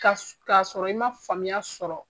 k'a sɔrɔ i man faamuya sɔrɔ.